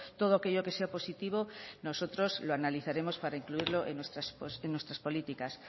todo aquello que sea positivo nosotros lo analizaremos para incluirlo en nuestras políticas